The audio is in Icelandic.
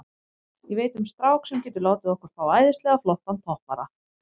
Ég veit um strák sem getur látið okkur fá æðislega flottan toppara.